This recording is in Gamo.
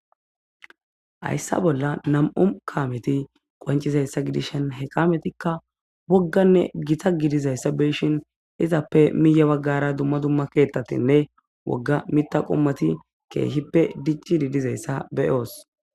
Hayssa bolla Nam'u kammeti qonccizayissa giddishshi he kammetikka woggane gitta giddizaysa beyishin entappe miye baggara duma duma ketattinne miththa qommoti diccishe dizayissa be'oosi.